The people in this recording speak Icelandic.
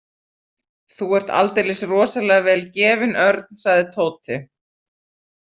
Þú er aldeilis rosalega vel gefinn, Örn sagði Tóti.